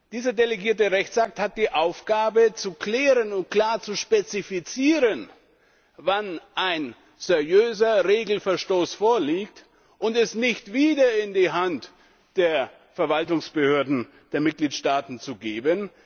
Dieser delegierte Rechtsakt hat die Aufgabe, zu klären und klar zu spezifizieren, wann ein seriöser Regelverstoß vorliegt, und es nicht wieder in die Hand der Verwaltungsbehörden der Mitgliedstaaten zu geben.